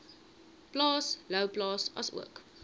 plaas louwplaas asook